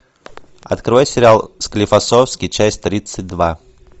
открой сериал склифосовский часть тридцать два